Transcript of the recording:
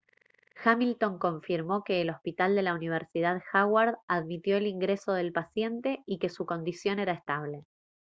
hamilton confirmó que el hospital de la universidad howard admitió el ingreso del paciente y que su condición era estable